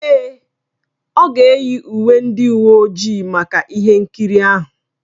Èè, ọ ga-eyi uwe ndị uwe ojii maka ihe nkiri ahụ.